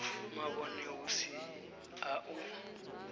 mavhone hu si a u